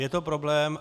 Je to problém.